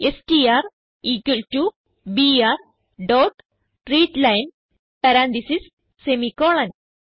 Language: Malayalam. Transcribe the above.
STR equal to BR dot readline parenthesis semicolon